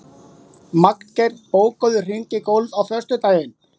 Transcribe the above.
Magngeir, bókaðu hring í golf á föstudaginn.